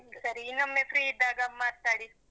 ಸರಿ ಇನ್ನೊಮ್ಮೆ free ಇದ್ದಾಗ ಮಾತಾಡಿ.